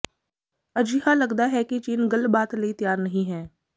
ਅਜਿਹਾ ਲਗਦਾ ਹੈ ਕਿ ਚੀਨ ਗੱਲਬਾਤ ਲਈ ਤਿਆਰ ਨਹੀਂ ਹੈ